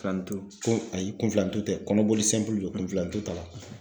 Kunfilanintu ayi kunfilanintu tɛ kɔnɔboli don kunfilanintu t'a la.